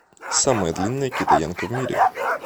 самая длинная китаянка в мире